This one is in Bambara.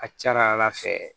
A ka ca ala fɛ